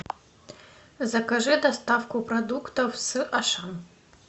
закажи доставку продуктов с ашан